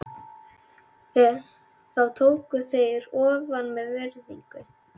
Þá tóku þeir ofan með virðingu.